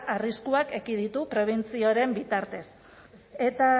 arriskuak ekiditu prebentzioaren bitartez eta